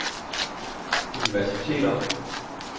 universiteter